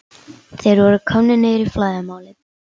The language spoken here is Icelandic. Þeir voru komnir niður í flæðarmálið.